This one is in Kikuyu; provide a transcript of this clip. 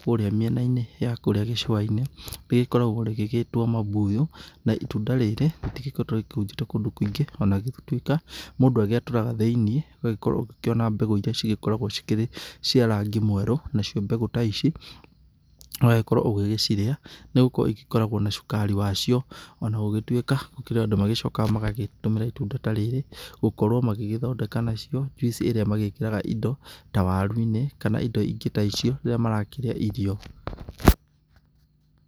kũrĩa mĩena-inĩ ya kũrĩa gĩcũa-inĩ rĩgĩkoragwo rĩgĩgĩtwo mambuyu. Na itunda rĩrĩ rĩtikoretwo rĩkĩhunjĩte kũndũ kũingĩ ona gũgĩtuĩka mũndũ agĩatũraga thĩiniĩ ũgakorwo ũgĩkiona mbegũ iria cigĩkoragwo cikĩri cia rangi mwerũ. Nacio mbegũ ta ici ũgagĩkorwo ũgĩgĩcirĩa nĩ gũkorwo igĩkoragwo na cukari wacio. Ona gũgĩtuĩka gũkĩrĩ andũ magĩcokaga magagĩtũmĩra itunda ta rĩrĩ gũkorwo magĩgĩthondeka nacio njuici ĩrĩa magĩkĩraga ta waru-inĩ kana indo ingĩ ta icio rĩrĩa marakĩrĩa irio.